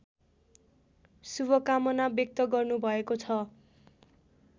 शुभकामना व्यक्त गर्नुभएको छ